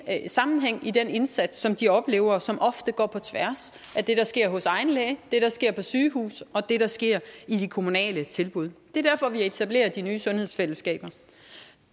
sammenhæng i den indsats som de oplever som ofte går på tværs af det der sker hos egen læge det der sker på sygehuset og det der sker i de kommunale tilbud det er derfor vi etablerer de nye sundhedsfællesskaber